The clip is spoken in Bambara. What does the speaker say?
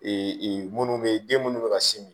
minnu bɛ yen den minnu bɛ ka sin min